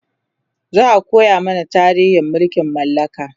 za'a koya mana tarihin mulkin mallaka